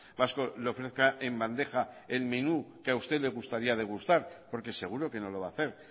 vasco le ofrezca en bandeja el menú que a usted le gustaría degustar porque seguro que no lo va a hacer